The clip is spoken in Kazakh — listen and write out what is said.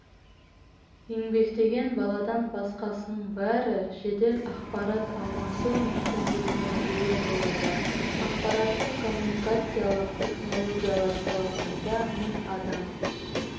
еңбектеген баладан басқасының бәрі жедел ақпарат алмасу мүмкіндігіне ие болады ақпараттық-коммуникациялық технологиялар саласында мың адам